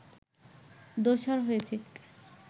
দোসর হয়েছে